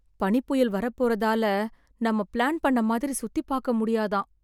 பனிப்புயல் வரப்போறதால நம்ம ப்ளான் பண்ண மாதிரி சுத்திப் பாக்க முடியாதாம்.